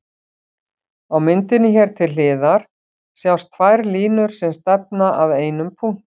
Á myndinni hér til hliðar sjást tvær línur sem stefna að einum punkti.